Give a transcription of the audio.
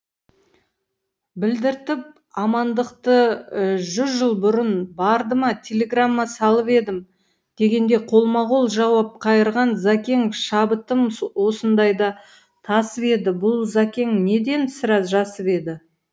білдіртіп амандықты жүз жыл бұрын барды ма телеграмма салып едім дегенде қолма қол жауап қайырған зәкең шабытым осындайда тасып еді бұл зәкең неден сірә жасып еді